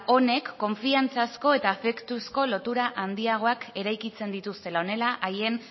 honek konfiantzazko eta afektuzko lotura handiagoak eraikitzen dituztela honela haien